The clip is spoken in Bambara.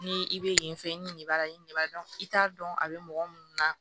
Ni i bɛ yen fɛ i ni nin b'a la i ni b'a dɔn i t'a dɔn a bɛ mɔgɔ minnu na